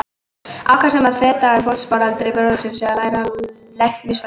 Ákvað hann þá að feta í fótspor eldri bróður síns og læra læknisfræði.